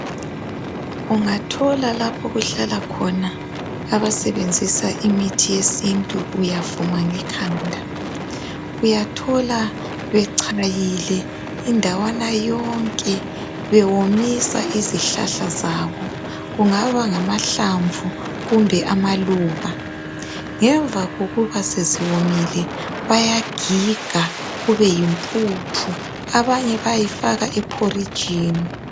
Ungathola lapho okuhlala khona abasebenzisa imithi yesintu uyavuma ngekhanda. Uyathola bechayile indawana yonke bewomisa izihlahla zabo. Kungaba ngamahlamvu kumbe amaluba, ngemva kokuba seziwomile bayagiga kube yimpuphu abanye bayifaka ephorijini.